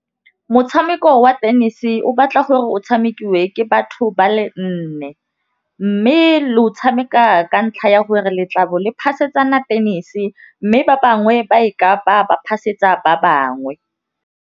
Motšhameko wa tennis o batla gore o tšhamekiwa ke batho ba le nne, mme le o tšhameka ka ntlha ya gore letlalo le phasetsana tennis mme ba bangwe ba e kapa ba phasetsa ba bangwe.